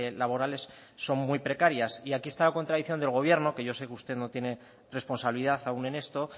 laborales son muy precarias y aquí está la contradicción del gobierno que yo sé que usted no tiene responsabilidad aún en esto